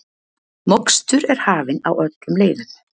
Mokstur er hafin á öllum leiðum